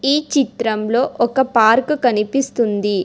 ఈ చిత్రంలో ఒక పార్కు కనిపిస్తుంది.